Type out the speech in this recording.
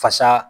Fasa